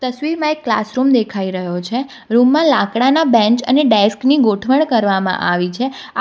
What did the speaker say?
તસવીરમાં એક ક્લાસરૂમ દેખાઈ રહ્યો છે રૂમમાં લાકડાના બેન્ચ અને ડેસ્ક ની ગોઠવણ કરવામાં આવી છે આ --